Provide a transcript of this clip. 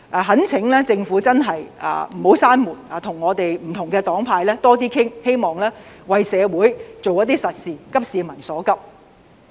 懇請政府真的不要關上這道門，跟不同黨派多點商討，希望為社會做一些實事，急市民所急。